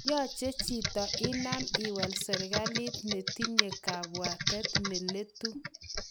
Yoche chito inam iwal serkalit ne tinye kabwatet neletu